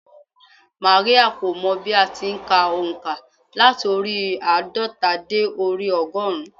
Máríà kò mọ bí a ti n ka ònkà láti orí i àádọ́ta dé orí i ọgọ́rùn-ún